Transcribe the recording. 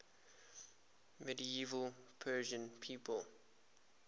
medieval persian people